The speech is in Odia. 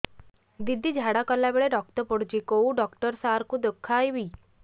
ଦିଦି ଝାଡ଼ା କଲା ବେଳେ ରକ୍ତ ପଡୁଛି କଉଁ ଡକ୍ଟର ସାର କୁ ଦଖାଇବି